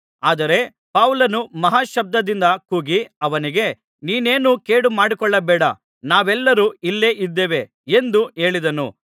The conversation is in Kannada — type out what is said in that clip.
ಆದರೆ ಪೌಲನು ಮಹಾ ಶಬ್ದದಿಂದ ಕೂಗಿ ಅವನಿಗೆ ನೀನೇನೂ ಕೇಡುಮಾಡಿಕೊಳ್ಳಬೇಡ ನಾವೆಲ್ಲರೂ ಇಲ್ಲೇ ಇದ್ದೇವೆ ಎಂದು ಹೇಳಿದನು